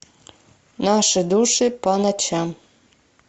наши души по ночам